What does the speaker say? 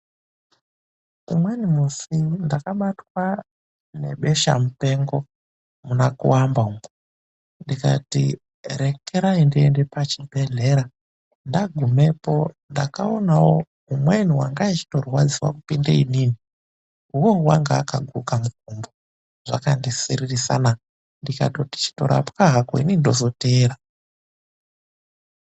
Umweni musi ndakabatwa ngebesha-mupengo muna Kuamba umwo. Ndikati rekerai ndiende pachibhedhlera. Ndagumepo ndakaonawo umweni wanga achitorwadziwa kupinda inini. Uwowo wanga akaguka mukumbo, zvakandisiririsa na. Ndikati chitorapwa hako, inini ndozoteera.